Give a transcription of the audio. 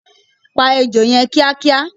Pa Ejò yẹn kíá kíá!